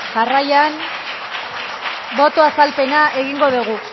boto azalpena egingo dugu